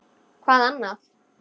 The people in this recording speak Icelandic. Hvað annað?